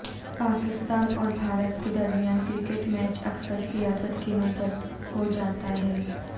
پاکستان اور بھارت کے درمیان کرکٹ میچ اکثر سیاست کی نظر ہوجاتا ہے